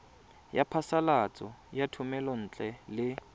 ya phasalatso ya thomelontle le